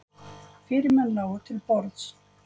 Fyrirmennin lágu til borðs.